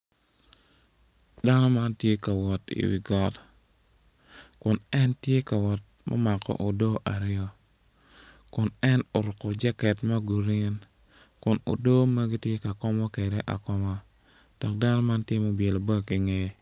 Dano man tye ka wot i wi got kirukogi aruka i kom toi dok bongi man tye bongi gomci ki obyelo bag i ngeye latere ma kitweyo i kome med ki koti ma kiruku.